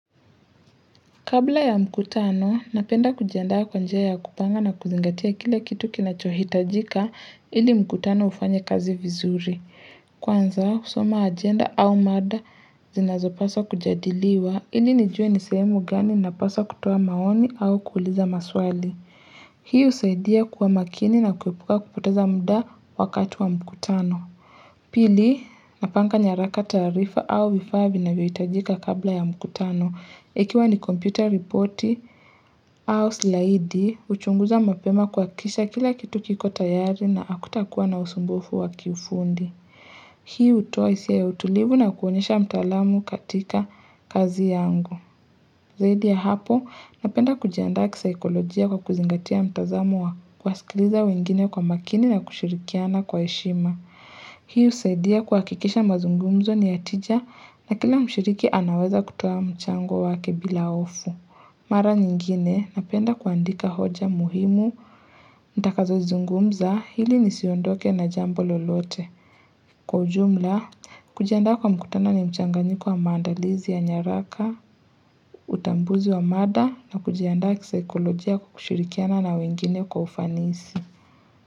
Kabla ya mkutano, napenda kujiandaa kwa njia ya kupanga na kuzingatia kila kitu kinachohitajika ili mkutano ufanya kazi vizuri. Kwanza, husoma ajenda au mada zinazopaswa kujadiliwa ili nijue nisemu gani napaswa kutoa maoni au kuuliza maswali. Hiu saidia kuwa makini na kuepuka kupoteza muda wakati wa mkutano. Pili, napanga nyaraka taarifa au vifaa vinavyohitajika kabla ya mkutano. Ikiwa ni computer ripoti au slaidi, uchunguza mapema kwa kisha kila kitu kiko tayari na hakuta kuwa na usumbofu wa kiufundi. Hii hutoa hisia ya utulivu na kuonyesha mtaalamu katika kazi yangu. Zaidi ya hapo, napenda kujiandaa kisaikolojia kwa kuzingatia mtazamo wa kuwasikiliza wengine kwa makini na kushirikiana kwa heshima. Hii usaidia kuhakikisha mazungumzo ni ya tija na kila mshiriki anaweza kutoa mchango wake bila hofu. Mara nyingine, napenda kuandika hoja muhimu, nitakazo zungumza, hili nisiondoke na jambo lolote. Kwa ujumla, kujiandaa kwa mkutano ni mchanganyiko wa maandalizi ya nyaraka, utambuzi wa mada na kujianda kisaekolojia kukushirikiana na wengine kwa ufanisi.